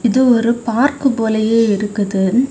இது ஒரு பார்க் போலையே இருக்குது.